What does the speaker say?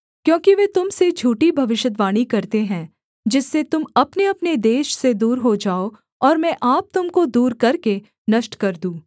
क्योंकि वे तुम से झूठी भविष्यद्वाणी करते हैं जिससे तुम अपनेअपने देश से दूर हो जाओ और मैं आप तुम को दूर करके नष्ट कर दूँ